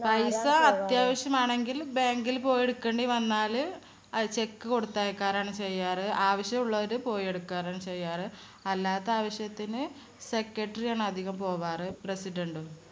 പൈസ അത്യാവശ്യമാണെങ്കിൽ bank ൽപോയി എടുക്കേണ്ടിവന്നാല് അത് cheque കൊടുത്തയക്കാറാണ് ചെയ്യാറ്. ആവശ്യമുള്ളവര് പോയി എടുക്കാറാണ് ചെയ്യാറ്. അല്ലാത്ത ആവശ്യത്തിന് secretary ആണ് അധികം പോകാറ് President ഉം